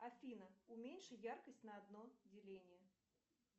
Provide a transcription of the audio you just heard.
афина уменьши яркость на одно деление